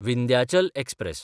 Vindhyachal express